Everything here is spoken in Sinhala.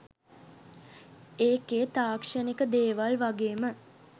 ඒකේ තාක්ෂණික දේවල් වගේම